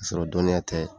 Ka sɔrɔ dɔnniya tɛ